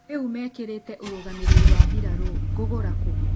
Rĩu mekĩrĩte ũrũgamĩrĩri wa birarũngũgũra kũ?